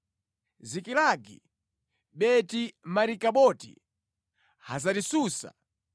Zikilagi, Beti-Marikaboti, Hazari-Susa,